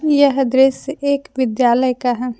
यह दृश्य एक विद्यालय का है।